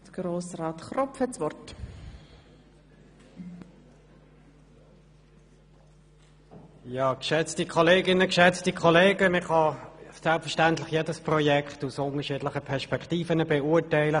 Selbstverständlich kann man jedes Projekt aus unterschiedlichen Perspektiven beurteilen.